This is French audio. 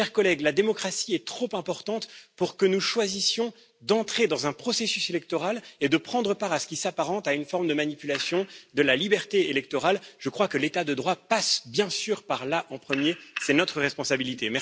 Chers collègues, la démocratie est trop importante pour que nous choisissions d'entrer dans un processus électoral et de prendre part à ce qui s'apparente à une forme de manipulation de la liberté électorale, je crois que l'état de droit passe bien sûr par là, en premier c'est notre responsabilité.